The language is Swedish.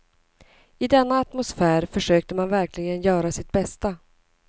I denna atmosfär försökte man verkligen göra sitt bästa.